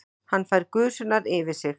Hann fær gusurnar yfir sig.